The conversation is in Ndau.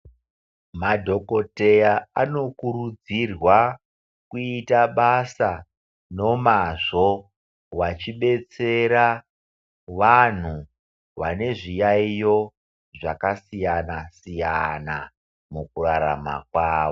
Madhokodheya anokurudzirwa kuita basa nomazvo vachidetsera vanhu vanezviyaiyo zvakasiyana siyana mukurarama kwavo.